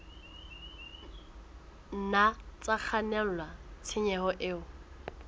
nna tsa kgannela tshenyong e